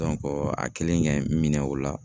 a kelen kɛ minɛ o la.